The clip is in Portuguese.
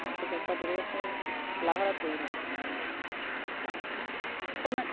Minha aposentadoria é como lavradora, tá? E como é